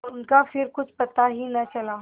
उनका फिर कुछ पता ही न चला